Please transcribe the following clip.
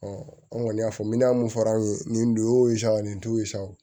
an kɔni y'a fɔ mina mun fɔra an ye nin don sa o nin t'o ye sa o